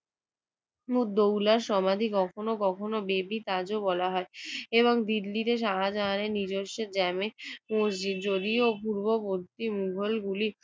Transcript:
মুদ্দৌলা সমাধি কখনো কখনো বেবি তাজও বলা হয় এবং দিল্লীতে শাহজাহানের নিজস্ব জামে মসজিদ। যদিও পূর্ব পশ্চিম মোগলগুলি